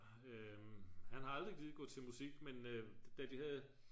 han har aldrig gidet gå til musik men da de havde